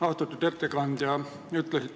Austatud ettekandja!